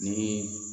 Ni